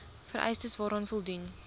vereistes waaraan voldoen